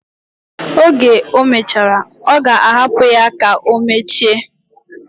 Oge omechara, oga hapu ya ka omeche.